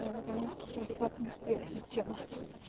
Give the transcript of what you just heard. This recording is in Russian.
у меня наконец-таки адекватное восприятие тела